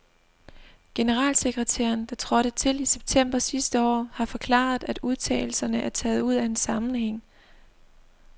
Generalsekretæren, der trådte til i september sidste år, har forklaret, at udtalelserne er taget ud af en sammenhæng.